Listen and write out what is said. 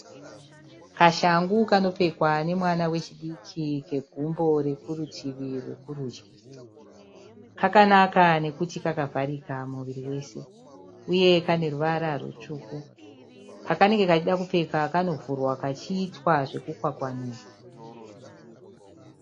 Kashangu kanopfekwa nomwana wechidiki kegumbo rekurutivi rwekurudyi. Kakanaka nokuti kakavharika muviri wese uye kane ruvara rutsvuku. Pakanenge kachida kupfeka kanovhurwa kachiitwa zvokukwakwanurwa.